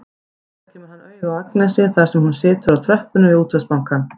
Fljótlega kemur hann auga á Agnesi þar sem hún situr á tröppunum við Útvegsbankann.